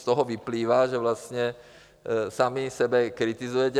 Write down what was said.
Z toho vyplývá, že vlastně sami sebe kritizujete.